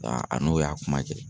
a n'o y'a kuma kɛ.